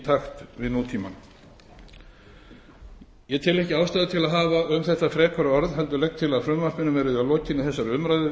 takt við nútímann ég tel ekki ástæðu til að hafa um þetta frekari orð heldur legg til að frumvarpinu verði að lokinni þessari umræðu